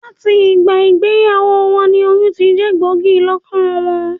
Làti ìgbà ìgbeyàwó won ni oyún tijé gbògí lókàn won